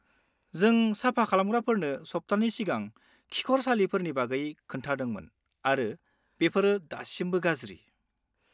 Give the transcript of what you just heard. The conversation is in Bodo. जों साफा खालामग्राफोरनो सप्तानै सिगां खिखरसालिफोरनि बागै खोन्थादोंमोन आरो बेफोर दासिमबो गाज्रि।